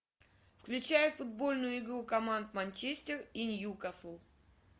включай футбольную игру команд манчестер и ньюкасл